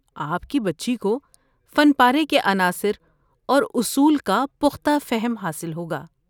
آپ کی بچی کو فن پارے کے عناصر اور اصول کا پختہ فہم حاصل ہوگا۔